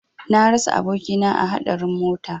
Na rasa abokina a hadarin mota.